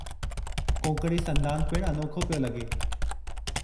कोंकणी संदान पिणु अनोखो पियो लॻे।